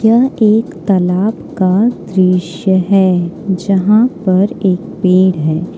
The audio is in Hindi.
यह एक तालाब का दृश्य है जहां पर एक पेड़ है।